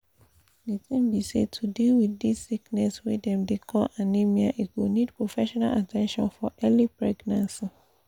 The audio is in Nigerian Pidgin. the tin be say to deal wit this sickness wey dem dey call anemia e go need professional at ten tion for early pregnancy